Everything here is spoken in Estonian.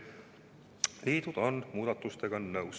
Liidud on muudatustega nõus.